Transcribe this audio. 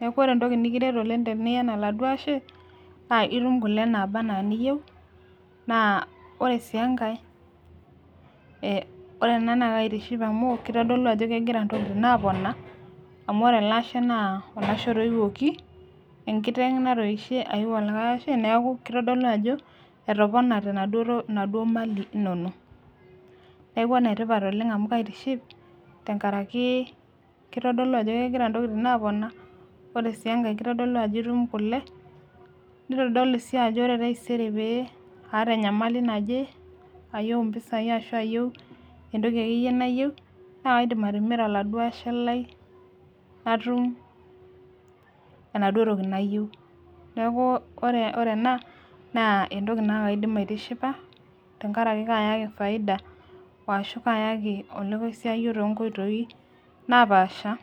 neeku ore entoki nimiret oleng teniyen oladuoo ashe, naa itum kule naaba anaa niyieu, naa ore sii enkae, ore ena naa kaitiship amu, kitodolu ajo kegira nkishu apona. enkiteng natoishe ayiu olikae Ashe neeku kitodolu ajo, etopanate inaduoo mali inonok. neeku ene tipat oleng amu kaitiship tenkaraki kitodolu ajo kegira ntokitin aapona. ore sii enkae kitodolu ajo itum kule, nitodolu ajo ore taisere pee aata enyamali naje, ayieu mpisai, ashu ayieu entoki nayieu. naa kaidim atimira oladuoo ashe lai natum enaduo toki nayieu, neeku ore ena entoki naa kaidim aitishipa. tenkaraki kayaki faida, arashu kaayaki olokoisyaio too nkoitoi napaasha.